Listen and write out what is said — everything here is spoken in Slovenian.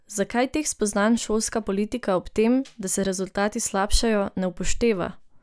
Zakaj teh spoznanj šolska politika ob tem, da se rezultati slabšajo, ne upošteva?